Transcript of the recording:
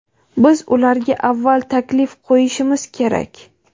biz ularga avval taklif qo‘yishimiz kerak.